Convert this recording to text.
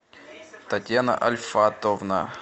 татьяна альфатовна